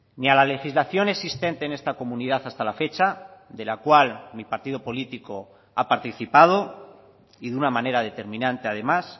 ni a la legislación existente en esta comunidad hasta la fecha de la cual mi partido político ha participado y de una manera determinante además